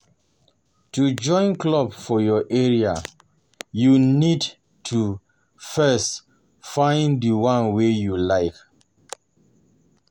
To join club for your area, you go need to first find di one wey you like